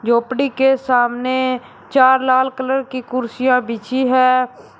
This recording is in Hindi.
झोपड़ी के सामने चार लाल कलर की कुर्सियां बिछी है।